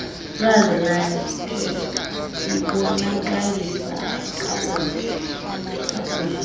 kazwilakhe ibonakalisa kakuhie